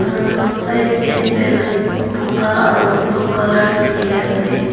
Aro side tey ballon buga aro blue colour dekhi ase.